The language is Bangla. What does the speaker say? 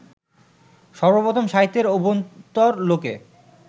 সর্বপ্রথম সাহিত্যের অভ্যন্তরলোকে